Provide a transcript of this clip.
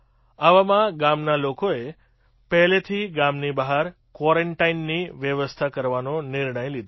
આવામાં ગામના લોકોએ પહેલેથી ગામની બહાર ક્વૉરન્ટાઇનની વ્યવસ્થા કરવાનો નિર્ણય લીધો